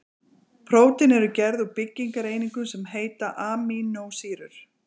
Prótín eru gerð úr byggingareiningum sem heita amínósýrur.